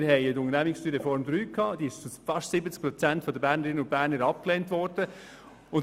Die Unternehmenssteuerreform fast 70 Prozent der Bernerinnen und Berner abgelehnt worden.